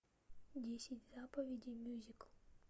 десять заповедей мюзикл